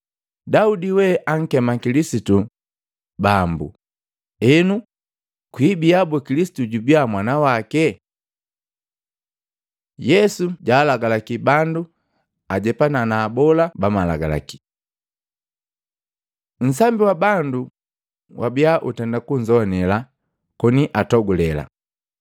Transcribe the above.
“Daudi we ankema Kilisitu, ‘Bambu,’ enu, kwibia boo Kilisitu jubia mwana wake?” Yesu jalagalaki bandu ajepana na abola ba malagalaki Matei 23:1-36; Luka 20:45-47 Nsambi wa bandu wabia utenda kunzowanela koni atogulela.